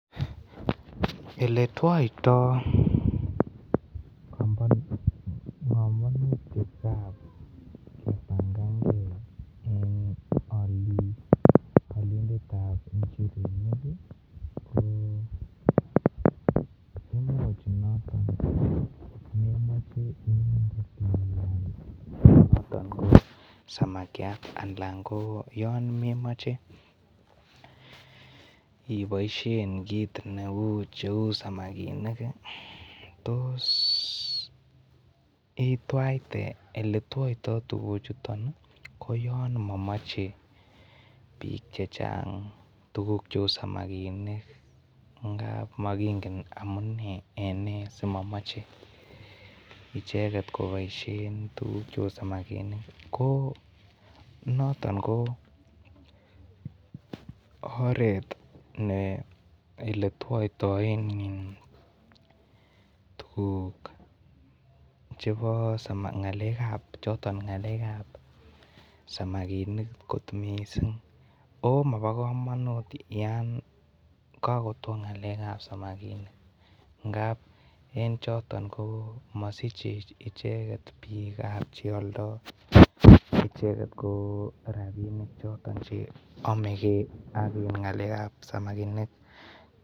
Eletwito pongonutik gab kebangankey en olindet tab njirenik koimuch imoche inde samakiat alan ko yon komemoche iboishen kit cheu samakinik tos itwaite ko yon momoche bik chechang tukuk cheu samakinik ngab mokingen amune asimomoche icheket koboishen en tukuk chei samakinik noton ko oret eletwoitoen tuguk ngalek kab samakinik kotmising oh mobikomonut yon kakotwo ngalek kab samakinik ngab en choton ko mosiche icheket bik kap cheoldo choton rabinik choton amegei akngaleg kab samakinik